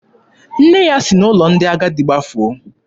Nne ya si n'ụlọ ndị agadi gbafuo.